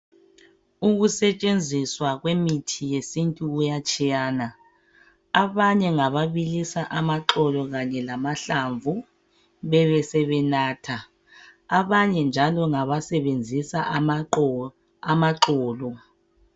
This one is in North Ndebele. Ukusetshenziswa kwemithi yesintu kuyatshiyana. Abanye ngababilisa amaxolo kanye lamahlamvu, bebesebenatha. Abanye njalo basebenzisa amaxolo.